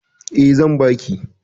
Eh zan baki